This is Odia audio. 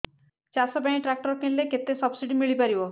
ଚାଷ ପାଇଁ ଟ୍ରାକ୍ଟର କିଣିଲେ କେତେ ସବ୍ସିଡି ମିଳିପାରିବ